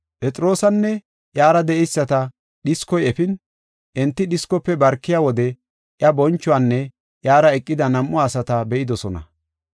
Phexroosanne iyara de7eyisata dhiskoy efin, enti dhiskofe barkiya wode iya bonchuwanne iyara eqida nam7u asata be7idosona.